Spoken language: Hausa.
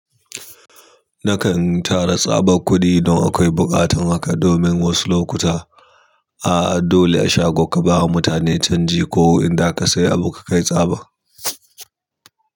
Nakan tara tsabar kuɗi idan akwai buƙatar haka domin wasu lokuta ah dole a shago ka bawa mutane canji ko in za ka sayi abu ka kai tsaba.